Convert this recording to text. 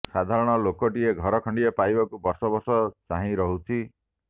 ସାଧାରଣ ଲୋକଟିଏ ଘର ଖଣ୍ଡିଏ ପାଇବାକୁ ବର୍ଷବର୍ଷ ଚାହିଁ ରହୁଛି